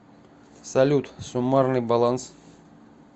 салют суммарный баланс